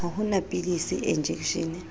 ha ho na pilisi enjekeshene